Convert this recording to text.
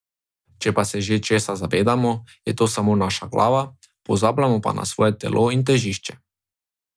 Če pa se že česa zavedamo, je to samo naša glava, pozabljamo pa na svoje telo in težišče.